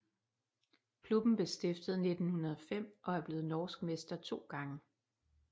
Klubben blev stiftet i 1905 og er blevet norsk mester 2 gange